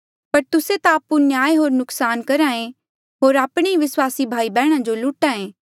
पर तुस्से ता आपु अन्याय होर नुकसान करहा ऐें होर आपणे ई विस्वासी भाई बैहणा जो लुट्हा ऐें